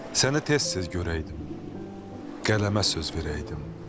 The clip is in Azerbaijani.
Səni tez-tez görəydim, qələmə söz verəydim.